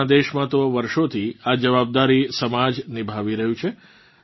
આપણાં દેશમાં તો વર્ષોથી આ જવાબદારી સમાજ નિભાવી રહ્યું છે